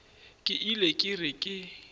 ke ile ke re ke